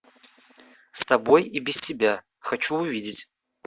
с тобой и без тебя хочу увидеть